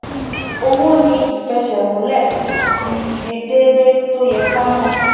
owó ní ìfẹsẹmúlẹ àti iye déédéé tó yẹ ká mọ